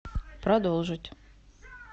продолжить